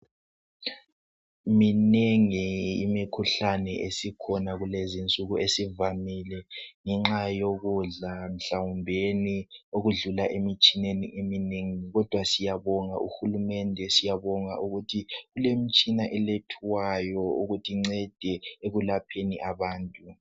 Minengi imikhuhlane esikhona kulezi insuku esivamile ngenxa lokudla, mhlawumbeni okudlula emitshineni eminengi. Kodwa siyabonga uhulumende siyabonga ukuthi kulemitshina elethwayo ukuze incede ekwelapheni